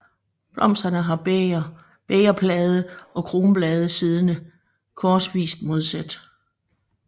Blomsterne har bægerblade og kronblade siddende korsvist modsat